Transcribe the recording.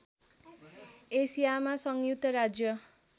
एसियामा संयुक्त राज्य